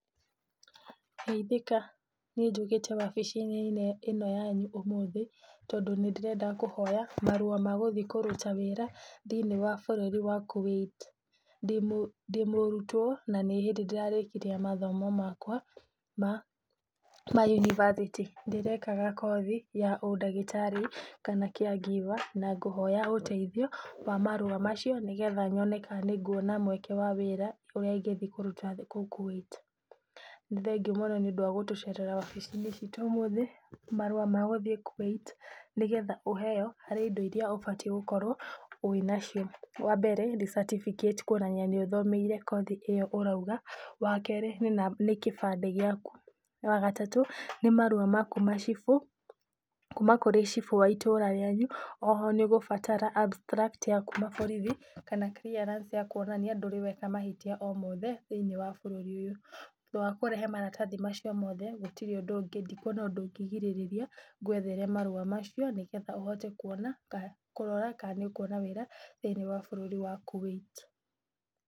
Geithika! Niĩ njũkĩte wabici-inĩ ĩno yanyu ũmũthĩ tondũ nĩ ndĩrenda kũhoya marũa ma gũthiĩ kũruta wĩra thiinĩ wa bũrũri wa Kuwait. Ndĩ mũrutwo na nĩ hĩndĩ ndĩrarĩkirie mathomo makwa Yunivasĩtĩ. Ndĩrekaga kothi ya ũndagĩtarĩ kana care giver na ngũhoya ũteithio wa marũa macio nĩgetha nyone kana nĩguona mweke wa wĩra ũrĩa ingĩthiĩ kũruta kũu Kuwait. Nĩ thengiũ mũno nĩũndũ wa gũtũcerera wabici-inĩ citũ ũmũthĩ. Marũa magũthiĩ Kuwait nĩgetha ũheo, harĩ indo irĩa ũbatiĩ gũkorwo nacio. Wa mbere nĩ certificate kuonania nĩ ũthomeire kothi ĩyo ũroiga. Wa kerĩ ni kĩbandĩ giaku. Wa gatatũ nĩ marũa makuuma Cibũ, kuuma kũrĩ Cibũ wa itũra rĩanyu. O ho nĩ ũgũbatara Abstract ya borithi kana Clearance ya kuonania ndũrĩ weka mahĩtia o mothe thĩinĩ wa bũrũri ũyũ. Thutha wa kũrehe maratathi macio mothe gũtirĩ ũndũ ũngĩ, ndikuona ũndũ ũngĩgirĩrĩria ngwethere marũa macio nĩgetha ũhote kuona kana kũrora kana nĩ ũkuona wĩra thĩinĩ wa bũrũri wa Kuwait.